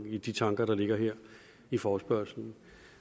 i de tanker der ligger her i forespørgslen